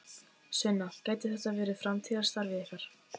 Sunna: Gæti þetta verið framtíðarstarfið ykkar?